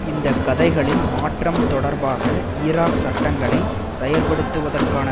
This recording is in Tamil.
இந்த கதைகளில் மாற்றம் தொடர்பாக ஈராக் சட்டங்களை செயற்படுத்துவதற்கான